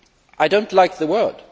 I do not like the word.